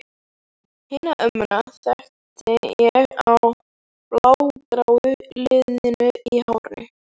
Hina ömmuna þekkti ég á blágráu liðunum í hárinu.